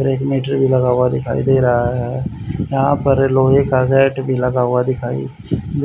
और एक मीटर भी लगा हुआ दिखाई दे रहा है यहां पर लोहे का गैट भी लगा हुआ दिखाई